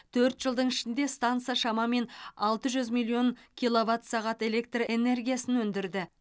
төрт жылдың ішінде станса шамамен алты жүз миллион киловатт сағат электр энергиясын өндірді